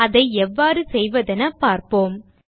அதை எவ்வாறு செய்வதென பார்ப்போம்